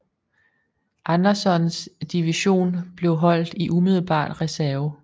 Andersons division blev holdt i umiddelbar reserve